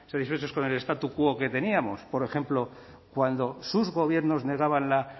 satisfechos con el statu quo que teníamos por ejemplo cuando sus gobiernos negaban la